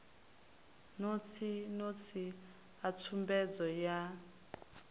notsi notsi a tsumbedzo yan